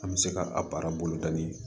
An bɛ se ka a baara boloda ni